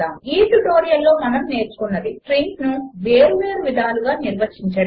ఈ ట్యుటోరియల్లో మనము నేర్చుకున్నది 1 స్ట్రింగ్స్ను వేరువేరు విధములుగా నిర్వచించడము